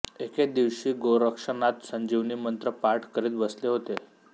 एके दिवशी गोरक्षनाथ संजीवनीमंत्र पाठ करीत बसले होते